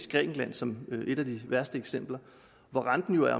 i grækenland som er et af de værste eksempler og hvor renten jo er